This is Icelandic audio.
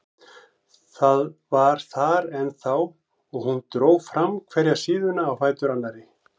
Það var þar ennþá og hún dró fram hverja síðuna á fætur annarri.